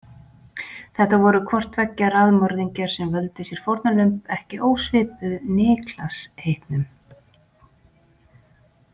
Þetta voru hvorttveggja raðmorðingjar sem völdu sér fórnarlömb ekki ósvipuð Niklas heitnum.